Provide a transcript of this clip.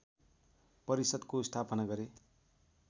परिषद्को स्थापना गरे